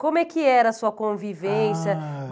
Como é que era a sua convivência? Ah...